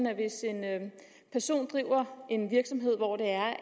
at hvis en person driver en virksomhed hvor det er